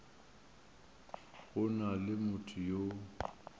go na le motho yo